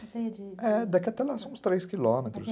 Você ia de... É, daqui até lá são uns três quilômetros.